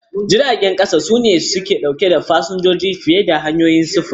Jiragen ƙasa suna ɗaukar fasinjoji fiye da sauran hanyoyin sufuri.